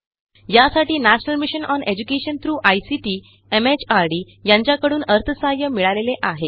यासाठी national mission on education through ICT MHRD यांच्याकडून अर्थसहाय्य मिळालेले आहे